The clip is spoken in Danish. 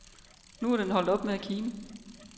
Nu er den holdt op med at kime.